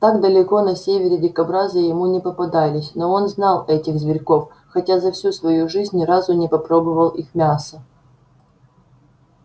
так далеко на севере дикобразы ему не попадались но он знал этих зверьков хотя за всю свою жизнь ни разу не попробовал их мяса